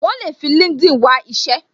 Wọn le fi LinkedIn wá isẹ